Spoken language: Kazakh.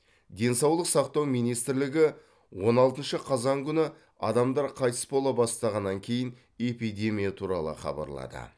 денсаулық сақтау министрлігі он алтыншы қазан күні адамдар қайтыс бола бастағаннан кейін эпидемия туралы хабарлады